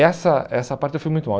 Essa essa parte eu fui muito mal.